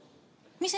Mis edasi?